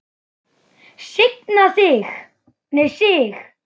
Signa sig?